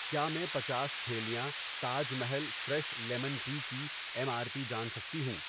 کیا میں پنچاس تھیلیاں Taj Mahal fresh lemon tea کی ایم آر پی جان سکتی ہوں؟